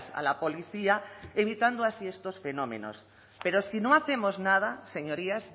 a la policía evitando así estos fenómenos pero si no hacemos nada señorías